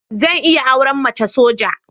Zan iya auren mace soja.